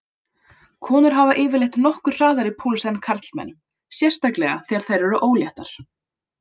Konur hafa yfirleitt nokkuð hraðari púls en karlmenn, sérstaklega þegar þær eru óléttar.